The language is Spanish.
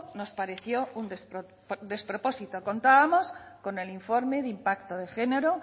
nos pareció un despropósito contábamos con el informe de impacto de género